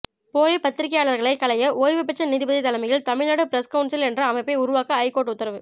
போலி பத்திரிகையாளர்களை களைய ஓய்வுபெற்ற நீதிபதி தலைமையில் தமிழ்நாடு பிரஸ் கவுன்சில் என்ற அமைப்பை உருவாக்க ஐகோர்ட் உத்தரவு